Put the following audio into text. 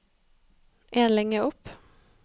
En linje opp